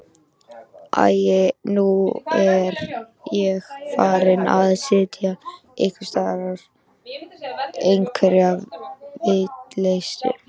Æi, nú er ég farin að segja einhverja vitleysu.